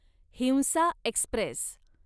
हिंसा एक्स्प्रेस